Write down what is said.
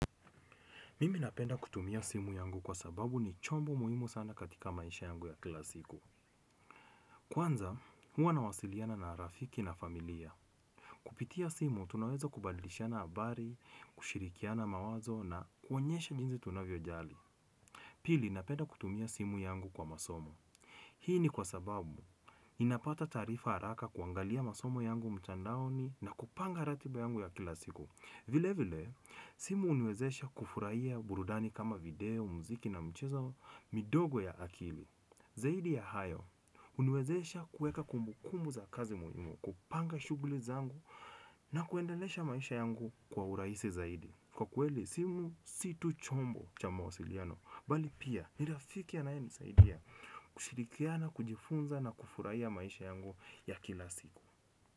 Mimi napenda kutumia simu yangu kwa sababu ni chombo muhimu sana katika maisha yangu ya kila siku. Kwanza, huwa nawasiliana na rafiki na familia. Kupitia simu, tunaweza kubadilishana habari, kushirikiana mawazo na kuonyesha jinsi tunavyojali. Pili, napenda kutumia simu yangu kwa masomo. Hii ni kwa sababu, ninapata taarifa haraka kuangalia masomo yangu mtandaoni na kupanga ratiba yangu ya kila siku. Vile vile, simu huniwezesha kufurahia burudani kama video, muziki na michezo midogo ya akili. Zaidi ya hayo, huniwezesha kuweka kumbukumbu za kazi muhimu, kupanga shughuli zangu na kuendelesha maisha yangu kwa urahisi zaidi. Kwa kweli, simu si tu chombo cha mawasiliano. Bali pia, ni rafiki anayenisaidia kushirikiana, kujifunza na kufurahia maisha yangu ya kila siku.